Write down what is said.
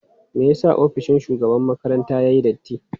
Me yasa ofishin shugaban makarantar yayi datti?